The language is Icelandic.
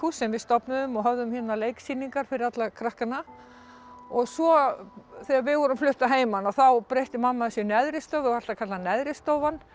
sem við stofnuðum og höfðum hérna leiksýningar fyrir alla krakkana svo þegar við vorum flutt að heiman þá breytti mamma þessu í neðri stofu alltaf kallað neðri stofan